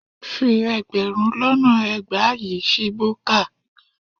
Fi ẹgbẹ̀rún lọ́nà ẹgbàá yìí ṣí búkà